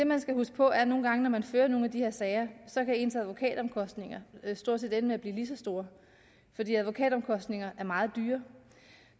man huske på at nogle gange når man fører de her sager kan ens advokatomkostninger stort set ende med at blive lige så store fordi advokatomkostninger er meget dyre